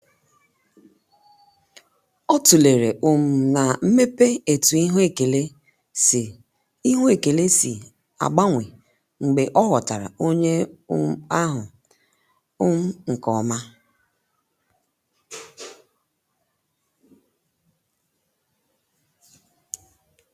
ọ tulere um na mmepe etu ihu ekele si ihu ekele si agbanwe mgbe ọ ghọtara onye um ahụ um nke ọma.